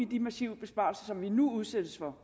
de massive besparelser som vi nu udsættes for